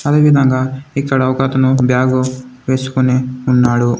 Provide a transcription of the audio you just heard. అదేవిధంగా ఇక్కడ ఒకతను బ్యాగు వేసుకొని ఉన్నాడు.